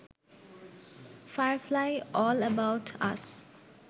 firefly, all about us,